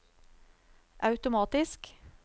automatisk